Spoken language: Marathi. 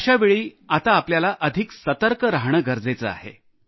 अशावेळी आता आपल्याला अधिक सतर्क राहणे गरजेचे आहे